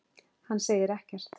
Hann segir ekkert.